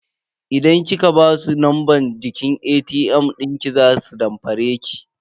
Idan kika basu numban jiki ATM dinki za su damfare ki.